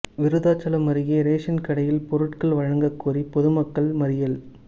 விருத்தாசலம் அருகே ரேஷன் கடையில் பொருட்கள் வழங்க கோரி பொதுமக்கள் மறியல்